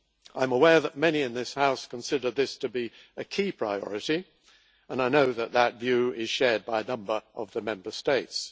I am aware that many in this House consider this to be a key priority, and I know that this view is shared by a number of the Member States.